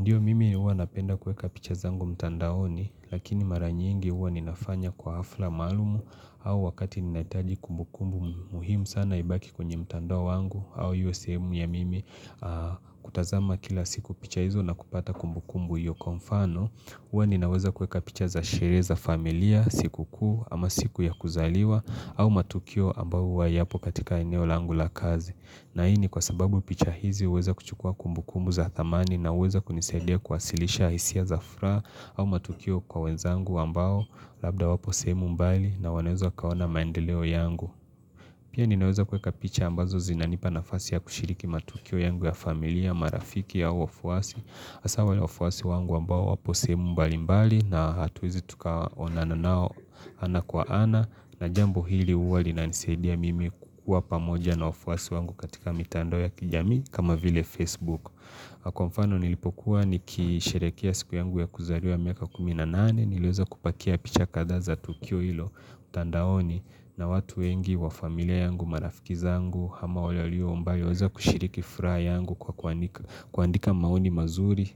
Ndiyo mimi huwa napenda kuweka picha zangu mtandaoni lakini mara nyingi huwa ninafanya kwa hafla maalumu au wakati ninahitaji kumbukumbu muhimu sana ibaki kwenye mtandao wangu au hiyo sehemu ya mimi kutazama kila siku picha hizo na kupata kumbukumbu hiyo kwa mfano. Huwa ninaweza kuweka picha za sherehe za familia, siku kuu, ama siku ya kuzaliwa, au matukio ambayo huwa hayapo katika eneo langu la kazi. Na hii ni kwa sababu picha hizi huweza kuchukua kumbu kumbu za thamani na huweza kunisaidia kuwasilisha hisia za furaha au matukio kwa wenzangu ambao labda wapo semu mbali na wanaweza wakaona maendeleo yangu. Pia ninaweza kuweka picha ambazo zinanipa nafasi ya kushiriki matukio yangu ya familia, marafiki au wafuasi, hasaa wafuasi wangu ambao wapo sehemu mbali mbali na hatuwezi tukaonana nao ana kwa ana na jambo hili huwa linanisaidia mimi kukua pamoja na wafuasi wangu katika mitando ya kijamii kama vile Facebook. Kwa mfano nilipokuwa nikisherekea siku yangu ya kuzaliwa miaka kumi na nane, nileweza kupakia picha kadhaa za tukio hilo mtandaoni na watu wengi wa familia yangu, marafikiza yangu, hama wale walio mbali, walioweza kushiriki furaha yangu kwa kuandika maoni mazuri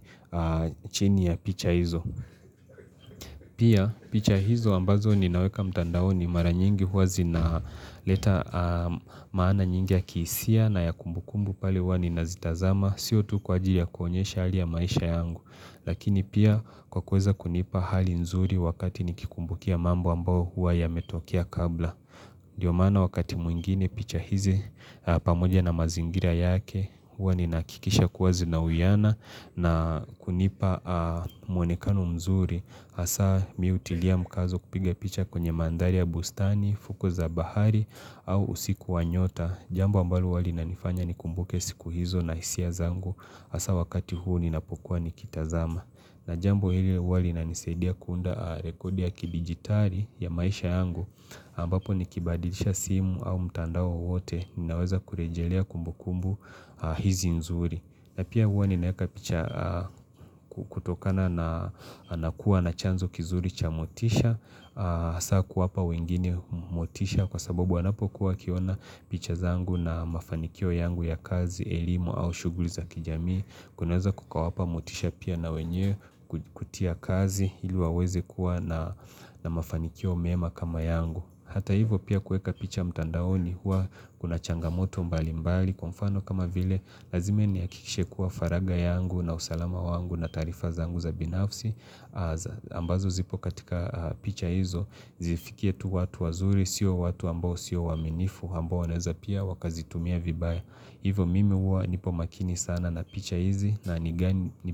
chini ya picha hizo. Pia picha hizo ambazo ninaweka mtandaoni mara nyingi huwa zinaleta maana nyingi ya kihisia na ya kumbukumbu pale huwa ninazitazama Sio tu kwa ajili ya kuonyesha hali ya maisha yangu Lakini pia kwa kuweza kunipa hali nzuri wakati nikikumbukia mambo ambayo huwa yametokea kabla Ndiyo maana wakati mwingine picha hizi pamoja na mazingira yake huwa ninahakikisha kuwa zinauiyana na kunipa mwonekano mzuri hasaa mi hutilia mkazo kupiga picha kwenye mandhari ya bustani, fuko za bahari au usiku wa nyota Jambo ambalo huwa linanifanya nikumbuke siku hizo na hisia zangu hasaa wakati huu ninapokuwa nikitazama na jambo hili huwa linanisaidia kuunda rekodi ya kidigitali ya maisha yangu ambapo nikibadilisha simu au mtandao wowote Ninaweza kurejelea kumbukumbu hizi nzuri. Na pia huwa ninaeka picha kutokana na kuwa na chanzo kizuri cha motisha Sa kuwapa wengine motisha kwa sababu wanapokuwa wakiona picha zangu na mafanikio yangu ya kazi, elimu au shughuli za kijamii kinaweza kukawapa motisha pia na wenye kutia kazi ili waweze kuwa na mafanikio mema kama yangu Hata hivyo pia kuweka picha mtandaoni huwa kuna changamoto mbali mbali kwa mfano kama vile Lazima nihakikishe kuwa faraga yangu na usalama wangu na taarifa zangu za binafsi ambazo zipo katika picha hizo Zifikie tu watu wazuri, sio watu ambao sio waaminifu Ambo wanaeza pia wakazitumia vibaya. Hivo mimi huwa nipo makini sana na picha hizi na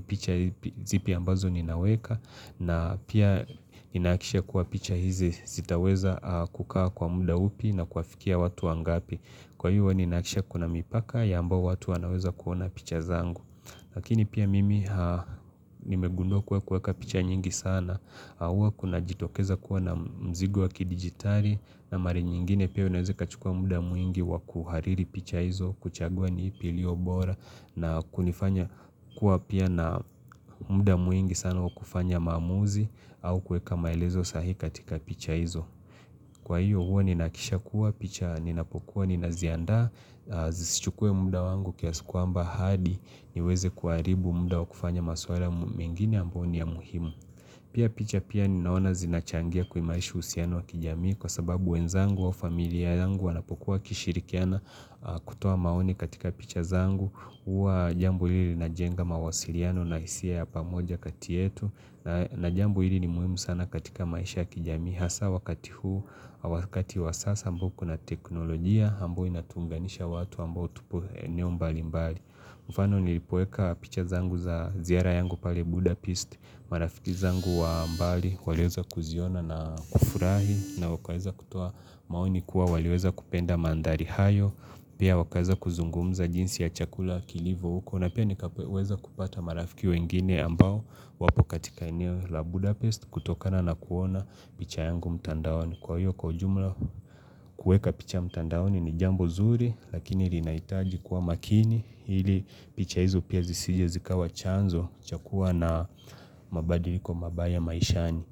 picha hizi zipi ambazo ninaweka na pia ninahakikisha kuwa picha hizi zitaweza kukaa kwa muda upi na kuwafikia watu wangapi Kwa hiyo ninahakikisha kuna mipaka ya ambayo watu wanaweza kuona picha zangu Lakini pia mimi nimegundua kuwa kuweka picha nyingi sana Huwa kunajitokeza kuwa na mzigo wa kidigitali na mara nyingine pia unaweza kachukua muda mwingi wa kuhariri picha hizo kuchagua ni ipi iliyobora na kunifanya kuwa pia na muda mwingi sana wa kufanya maamuzi au kuweka maelezo sahhii katika picha hizo Kwa hiyo huwa ninahakikisha kuwa picha ninapokuwa ninaziandaa Zisichukue muda wangu kiasi kwamba hadi niweze kuharibu muda wa kufanya maswala mengine ambayo ni ya muhimu. Pia picha pia ninaona zinachangia kuimarisha uhusiano wa kijamii kwa sababu wenzangu wa familia yangu wanapokuwa wakishirikiana kutoa maoni katika picha zangu. Huwa jambo hili linajenga mawasiliano na hisia ya pamoja kati yetu na jambo hili ni muhimu sana katika maisha ya kijamii. Hasa wakati huu, wakati wa sasa ambao kuna teknolojia, ambayo inatuunganisha watu ambao tupo eneo mbali mbali. Mfano nilipoweka picha zangu za ziara yangu pale Budapest, marafiki zangu wa mbali, waliweza kuziona na kufurahi, na wakaweza kutoa maoni kuwa waliweza kupenda mandhari hayo, pia wakaweza kuzungumza jinsi ya chakula kilivo huko, na pia nikaweza kupata marafiki wengine ambao wapo katika eneo la Budapest, kutokana na kuona picha yangu mtandaoni. Kwa hiyo kwa jumla kuweka picha mtandaoni ni jambo zuri, lakini linahitaji kuwa makini, ili picha hizo pia zisije zikawa chanzo, cha kuwa na mabadiliko mabaya maishani.